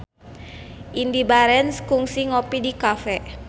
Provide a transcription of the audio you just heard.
Indy Barens kungsi ngopi di cafe